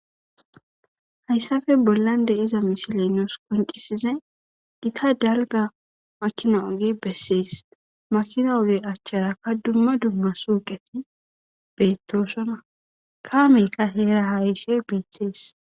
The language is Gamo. hayssafe bollan de iza misile nous qoncisiza gita dalga makina oge bessees makina oge achcharakka dumma dumma suuqeti beettosona kaameyka heera haayishe beettees